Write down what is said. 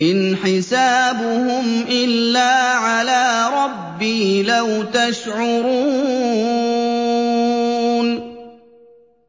إِنْ حِسَابُهُمْ إِلَّا عَلَىٰ رَبِّي ۖ لَوْ تَشْعُرُونَ